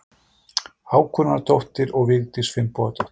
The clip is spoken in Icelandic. Hákonardóttir og Vigdís Finnbogadóttir.